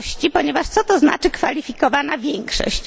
Ponieważ co to znaczy kwalifikowana większość?